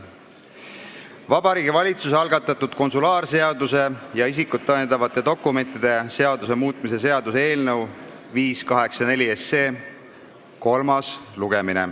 Vabariigi Valitsuse algatatud konsulaarseaduse ja isikut tõendavate dokumentide seaduse muutmise seaduse eelnõu 584 kolmas lugemine.